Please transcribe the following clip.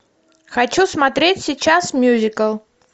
хочу смотреть сейчас мюзикл